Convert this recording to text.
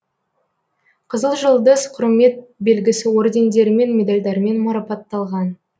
қызыл жұлдыз құрмет белгісі ордендерімен медальдармен марапатталған